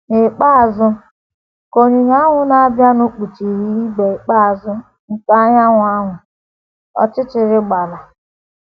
N’ikpeazụ, ka onyinyo ahụ na - abịanụ kpuchiri ibé ikpeazụ nke anyanwụ ahụ, ọchịchịrị gbara. ”